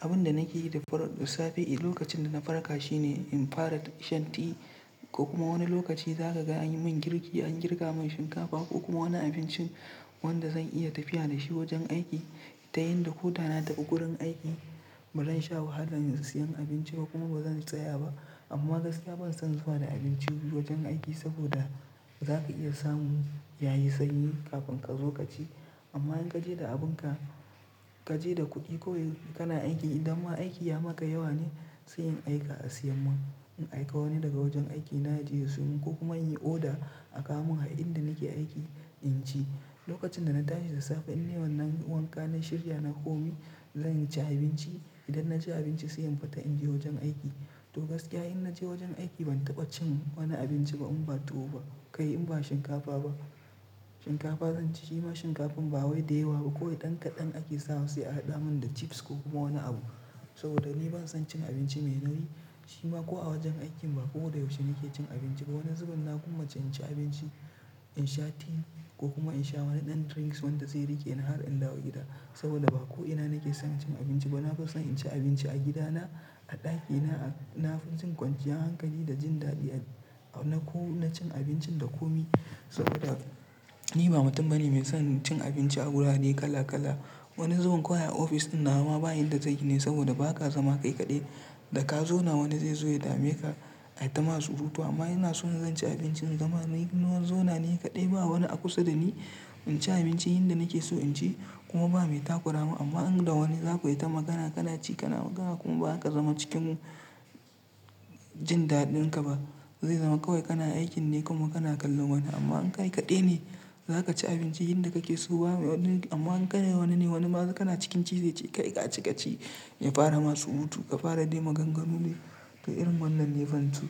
Abin da nake yi da dare da safe lokacin da na farka shine in fara shan ti, ko kuma wani lokaci zaka ga an yi mun girki, an girka mun shinkafa ko kuma wani abincin wanda zan iya tafiya da shi wajen aiki. Ta yanda kotana da ƙuƙurin aiki, ba zan sha wahala in sayi abinci ba kuma ba zan tsaya ba. Amma gaskiya ban son zuwa da abinci wajen aiki saboda zaka iya samu yayi sanyi kafin ƙazo kaci. Amma in ka je da abin ka, ka je da kuɗi koyi kana aiki idan ma aiki ya maka yawa ne sai in aika a siya mun. In aika wani daga wajen aiki na je ya siyo mun ko kuma in yi oda a ka mun a inda nake aiki in ci. Lokacin da na tashi da safe in neman na yi wanka nayi shirya na koma zan ci abinci. Idan na ci abinci sai in fita in je wajen aiki. To gaskiya in na je wajen aiki ban taɓa cin wani abinci ba in ba tuwo ba, kai in ba shinkafa ba. Shinkafa zan ci shima shinkafan ba wai da yawa ba, koyi ɗan kaɗan ake sawa sai a haɗa mun da chips ko kuma wani abu. Saboda ni ban son cin abinci mai nauyi shima ko a wajen aikin ba. Ko da yaushe nake cin abinci ba wani zubin na kuma ce in ci abinci, in sha ti ko kuma in sha wani ɗan drinks wanda zai rike ni har in dawo gida. Saboda ba ko ina nake son cin abinci ba. Na fi son in ci abinci a gida na, a ɗakina. Na fi jin ƙwanjiya hankali da jin daɗi a-- na ko na cin abincin da ko mi saboda ni ba mutum bane mai son cin abinci a wurare kala kala. Wani zubun kuwa ofis ɗin na ma bayi inda zai yi ne saboda ba ka zama kai kaɗai. Da ka zauna wani zai zo ya dame ka, ya tama surutu. Amma ina so zan ci abincin zan yi nawan zauna ne kaɗai ba wani a kusa da ni. In ci abinci inda nake so in ci kuma ba mai takura mun. Amma in da wani zaku yi ta magana kana ci kana magana kuma ba ka zama cikin jin daɗin ka ba. Zai zama kawai kana aikin ne kuma kana kallon wani. Amma in kai kaɗai ne zaka ci abinci inda kake so ba wani. Amma in kana wani ne wani ma zai-- kana cikin ci zai ce "Kai ka ci ka ci, ya fara masu hutu, ka fara ɗime ganganu ne." To irin wannan ni ban so.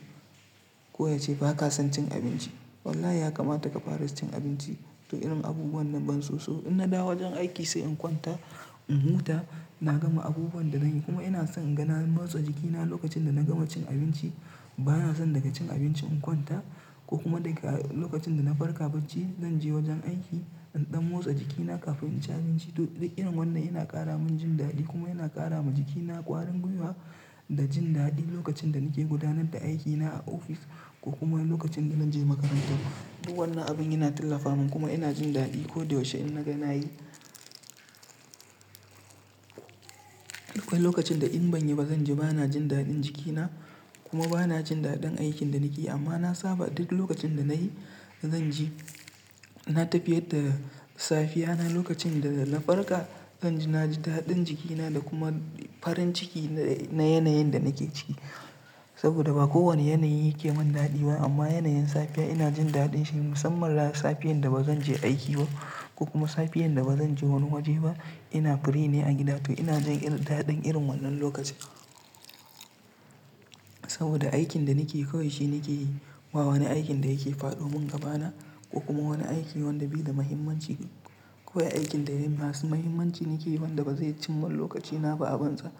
Ko ya ce ba ka son cin abinci? Wallahi ya kamata ka fara cin abinci. To irin abubuwan nan ban so. So in na dawo wajen aiki sai in kwanta, in huta, na gama abubuwan da nake yi kuma ina son in ga na motsa jikina lokacin da na gama cin abinci. Ba na son daga cin abinci in kwanta ko kuma daga lokacin da na farka bacci zan je wajen aiki in ɗan motsa jikina kafin in ci abinci. To duk irin wannan yana ƙara mun jin daɗi kuma yana ƙara ma jikina ƙwarin gwiwa da jin daɗi lokacin da nake gudanar da aikina a ofis ko kuma lokacin da zan je makarantar. Duk wannan abun yana tallafa mun kuma ina jin daɗi. Ko da yaushe idan naga nayi kwai lokacin da in ban yi ba zan ji ba na jin daɗin jikina kuma ba na jin daɗin aikin da nake yi. Amma na saba duk lokacin da na yi zan ji na tafiyar da safiyana lokacin da na farka zan ji na ji daɗin jikina da kuma farin ciki na yanayin da nake ciki. Saboda ba kowane yanayi yake mun daɗi ba amma yanayin safiya ina jin daɗin shi musamman safiyar da ba zan je aiki ba ko kuma safiyar da ba zan je wani waje ba. Ina free ne a gida to ina jin daɗin irin wannan lokaci. Saboda aikin da nake yi kawai shi nake yi ba wani aikin da yake faɗo mun gabana ko kuma wani aiki wanda bi da muhimmanci. Kowai aikin da masu muhimmanci nake yi wanda ba zai cimma lokacina ba a banza.